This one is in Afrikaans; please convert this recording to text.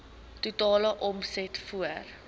totale omset voor